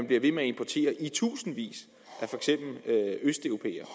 bliver ved med at importere i tusindvis af østeuropæere